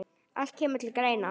Allt kemur til greina.